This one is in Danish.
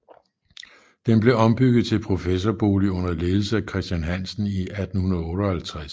Den blev ombygget til professorbolig under ledelse af Christian Hansen i 1858